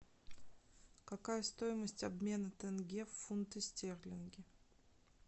какая стоимость обмена тенге в фунты стерлинги